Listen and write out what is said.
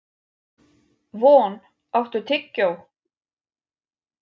Von, áttu tyggjó?